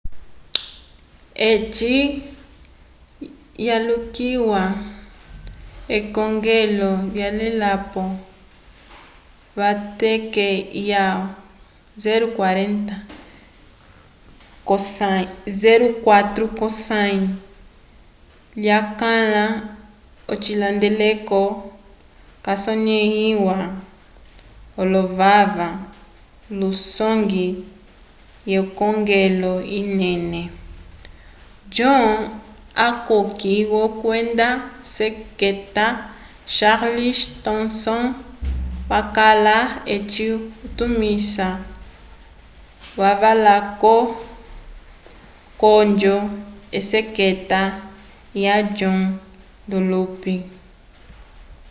eci yalulikiwa k'ekongelo lyavelapo v'eteke lya 04 k'osãyi lyakwãla ocihandeleko casonẽhiwa l'ovaka lusongwi wekongelo inene john hancock kwenda seketa charles thomson wakala eci utumisi lavakwavo k'onjo yeseketa ya john dunlop